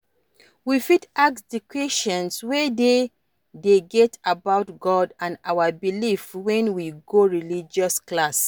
We fit ask di questions wey we dey get about God and our beliefs when we go religious class